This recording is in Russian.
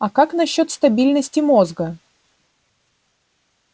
а как насчёт стабильности мозга